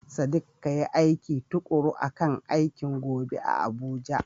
Sadiq, kayi aiki tukuru akan aikin gobe a Abuja.